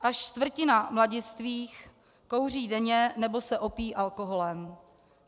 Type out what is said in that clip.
Až čtvrtina mladistvých kouří denně nebo se opíjí alkoholem.